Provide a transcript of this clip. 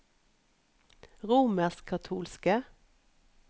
romerskkatolske